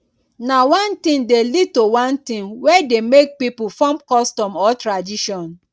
na one thing de lead to one thing wey de make pipo form custom or tradition